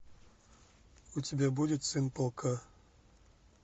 у тебя будет сын полка